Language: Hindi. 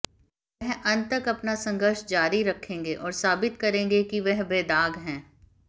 वह अंत तक अपना संघर्ष जारी रखेंगे और साबित करेंगे कि वह बेदाग हैं